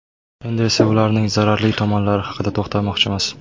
Endi esa ularning zararli tomonlari haqida to‘xtalmoqchimiz.